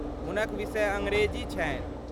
हुनक विषय अङरेजी छनि।